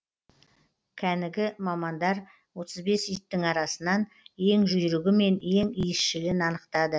кәнігі мамандар отыз бес иттің арасынан ең жүйрігі мен ең иісшілін анықтады